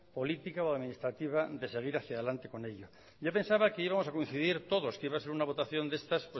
política o administrativa de seguir hacía adelante con ella yo pensaba que íbamos a coincidir todos que iba a ser una votación de estas